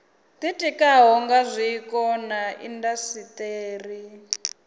ditikaho nga zwiko na indasiteri